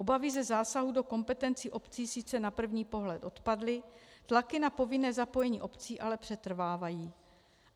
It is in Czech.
Obavy ze zásahu do kompetencí obcí sice na první pohled odpadly, tlaky na povinné zapojení obcí ale přetrvávají.